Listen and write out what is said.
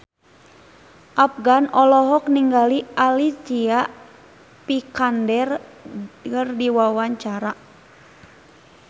Afgan olohok ningali Alicia Vikander keur diwawancara